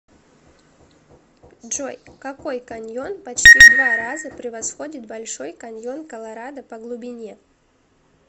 джой какой каньон почти в два раза превосходит большой каньон колорадо по глубине